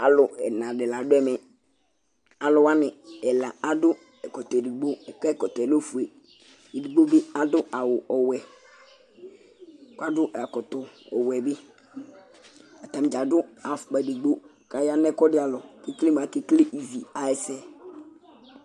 Alu ɛna di la du ɛmɛ Alu wani ɛla adu ɛkɔtɔ ɛdigbo kʋ ɛkɔtɔ lɛ ɔfʋe Ɛdigbo bi adu ɔwɛ kʋ adu ɛkɔtɔ ɔwɛ bi Atani dza adu afukpa ɛdigbo kʋ aya nʋ ɛkʋɛdi alɔ kʋ ekele mʋ ake kele ívi ayɛsɛ